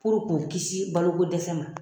k'u kisi balo ko dɛsɛ ma.